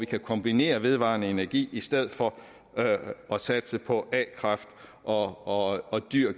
kombinerer vedvarende energi i stedet for at satse på a kraft og og dyr